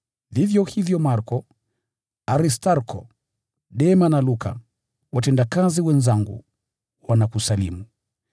Vivyo hivyo Marko, Aristarko, Dema na Luka, watendakazi wenzangu wanakusalimu.